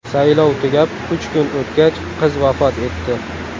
Saylov tugab, uch kun o‘tgach, qiz vafot etdi.